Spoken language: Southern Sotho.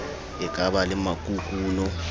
e ka ba le makukuno